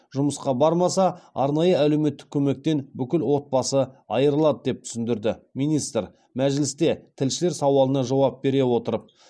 жұмысқа бармаса арнайы әлеуметтік көмектен бүкіл отбасы айырылады деп түсіндірді министр мәжілісте тілшілер сауалына жауап бере отырып